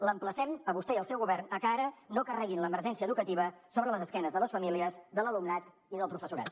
l’emplacem a vostè i el seu govern a que ara no carreguin l’emergència educativa sobre les esquenes de les famílies de l’alumnat i del professorat